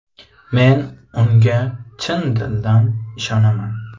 Men unga chin dildan ishonaman.